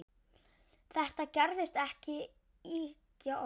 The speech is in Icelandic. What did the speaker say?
Þetta gerist ekki ýkja oft.